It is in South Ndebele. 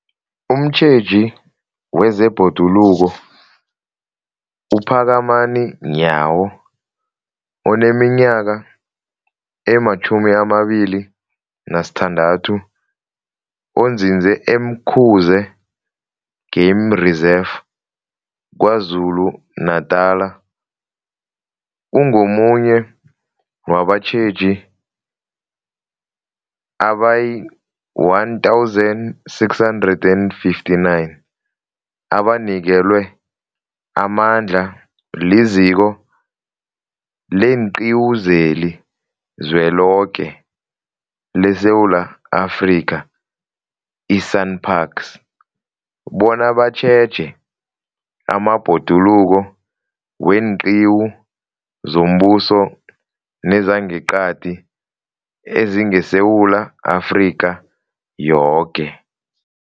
Umtjheji wezeBhoduluko uPhakamani Nyawo oneminyaka ema-26, onzinze e-Umkhuze Game Reserve KwaZulu-Natala, ungomunye wabatjheji abayi-1 659 abanikelwe amandla liZiko leenQiwu zeliZweloke leSewula Afrika, i-SANParks, bona batjheje amabhoduluko weenqiwu zombuso nezangeqadi ezingeSewula Afrika yoke.